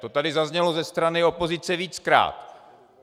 To tady zaznělo ze strany opozice víckrát.